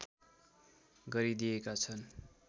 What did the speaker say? गरिदिएका छन्